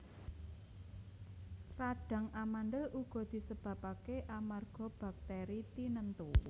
Radhang amandhel uga disebabaké amarga baktèri tinentu